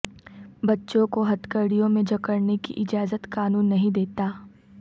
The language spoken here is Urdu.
بچوں کو ہتھکڑیو میں جکڑنے کی اجازت قانون نہیں دیتا